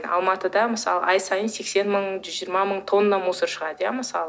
алматыда мысалы ай сайын сексен мың жүз жиырма мың тонна мусор шығады иә мысалы